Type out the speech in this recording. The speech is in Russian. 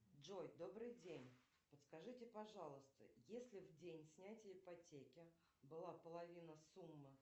джой добрый день подскажите пожалуйста если в день снятия ипотеки была половина суммы